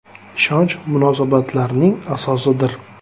“Ishonch munosabatlarning asosidir.